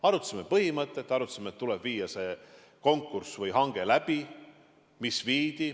Arutasime põhimõtet, arutasime, et tuleb läbi viia selline konkurss või hange, mis viidi.